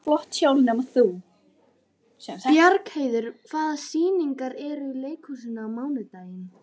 Bjargheiður, hvaða sýningar eru í leikhúsinu á mánudaginn?